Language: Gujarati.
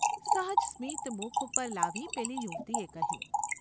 ’ સહજ સ્મિત મુખ ઉપર લાવી પેલી યુવતીએ કહ્યું.